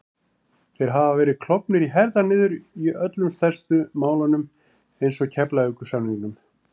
Þeir hafa verið klofnir í herðar niður í öllum stærstu málunum eins og Keflavíkursamningnum